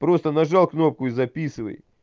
просто нажал кнопку и записывай